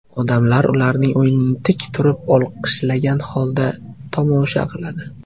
Odamlar ularning o‘yinini tik turib olqishlagan holda tomosha qiladi.